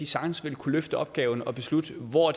sagtens vil kunne løfte opgaven og beslutte hvor